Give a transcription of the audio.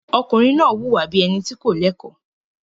Ọkùnrin náà wùwà bí i ẹni tí kò lẹ́kọ̀ọ́.